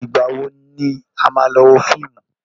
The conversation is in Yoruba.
Ìgbà wo ni a máa lọ wo fíìmù?